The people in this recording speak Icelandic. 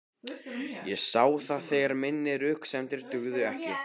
Ég sá að þessar mínar röksemdir dugðu ekki.